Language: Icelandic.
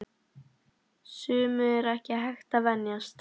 Sumu er ekki hægt að venjast.